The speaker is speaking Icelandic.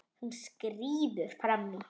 Hún skríður fram í.